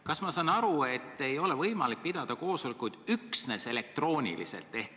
Kas ma saan õigesti aru, et ei ole võimalik pidada koosolekuid üksnes elektrooniliselt?